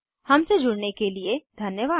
हमसे जुड़ने के लिए धन्यवाद